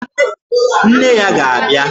Nne ya ga-abịa!